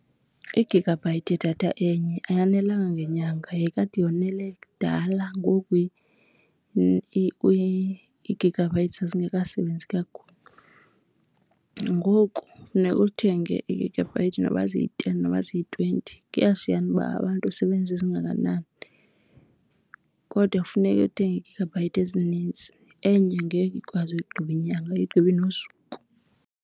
I-gigabyte yedatha enye ayanelanga ngenyanga, yayikade yonele kudala ngoku ii-gigabytes zazingasebenzi kakhulu. Ngoku funeka uthenge ii-gigabyete noba ziyi-ten noba ziyi-twenty, kushiyashiyana uba abantu usebenzisa ezingakanani, kodwa kufuneke ethenge ii-gigabyte ezinintsi. Enye ngeke ikwazi ukuyigqiba inyanga, ayigqibi nosuku.